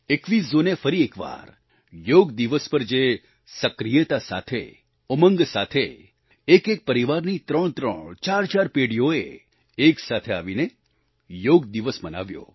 21 જૂને ફરી એકવાર યોગ દિવસ પર જે સક્રિયતા સાથે ઉમંગ સાથે એકએક પરિવારની ત્રણત્રણ ચારચાર પેઢીઓએ એક સાથે આવીને યોગ દિવસને મનાવ્યો